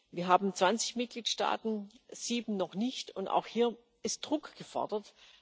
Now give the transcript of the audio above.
Wir haben zwanzig Mitgliedstaaten sieben noch nicht und auch hier ist Druck gefordert.